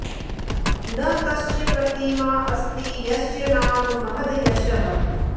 न तस्य प्रतिमा अस्ति यस्य नाम महद् यशः